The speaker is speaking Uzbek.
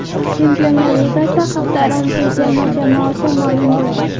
Chempionlar Ligasida hafta ramziy terma jamoasi ma’lum bo‘ldi.